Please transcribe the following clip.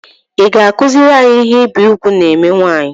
I ga -akuzuri anyị ihe ibi ùgwù na eme nwaanyị?